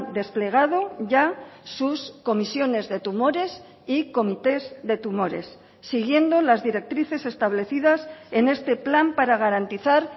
desplegado ya sus comisiones de tumores y comités de tumores siguiendo las directrices establecidas en este plan para garantizar